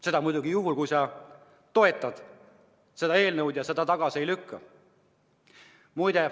Seda muidugi juhul, kui sa ei toeta seda eelnõu ja lükkad selle tagasi.